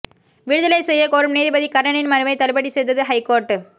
விடுதலை செய்ய கோரும் நீதிபதி கர்ணனின் மனுவை தள்ளுபடி செய்தது ஹைகோர்ட்